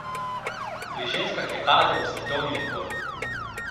Pri ženskah je padel svetovni rekord!